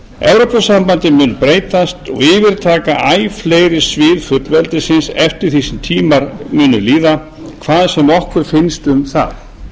evrópusambandið mun breytast og yfirtaka æ fleiri svið fullveldisins eftir því sem tímar munu líða hvað sem okkur finnst um það